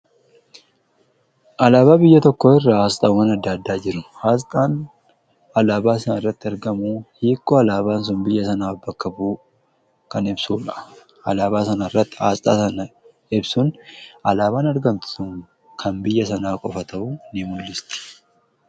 Alaabaa biyya tokko irra asxaawwan adda addaa jiru. Aasxaan alaabaa sana irratti argamu hiikoo alaabaan sun biyya sana bakka bu'u kan ibsuudha. Alaabaa sana irratti aasxaa sana ibsuun alaabaan argamtu sun kan biyya sanaa qofa ta'u ni mu'isti.